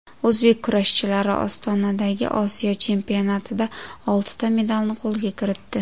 O‘zbek kurashchilari Ostonadagi Osiyo chempionatida oltita medalni qo‘lga kiritdi.